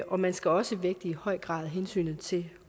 og man skal også i høj grad vægte hensynet til